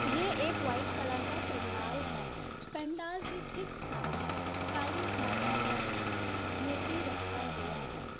ये एक white colour का पंडाल है। पंडाल के ठीक सामने काली माता का मूर्ति रखा हुआ है।